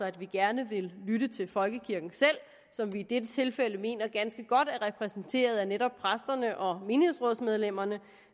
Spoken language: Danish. at vi gerne vil lytte til folkekirken selv som vi i dette tilfælde mener er ganske godt repræsenteret af netop præsterne og menighedsrådsmedlemmerne